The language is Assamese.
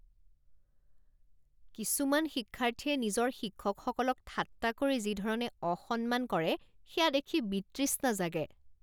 কিছুমান শিক্ষাৰ্থীয়ে নিজৰ শিক্ষকসকলক ঠাট্টা কৰি যি ধৰণে অসম্মান কৰে সেয়া দেখি বিতৃষ্ণা জাগে।